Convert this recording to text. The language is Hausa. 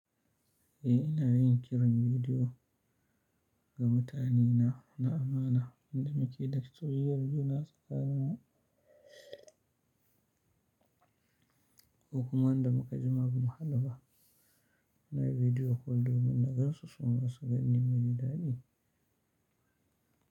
Eh ina yin kiran bidiyo ga mutanena na amana. Wanda muke da soyayyar juna tsakaninmu. Kokuma wanda muka jima bamu haduba Ina bidiyo call domin na gan su su ma su ganni, muji daɗi.